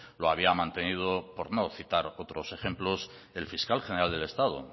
lo había mantenido por no citar otros ejemplos el fiscal general del estado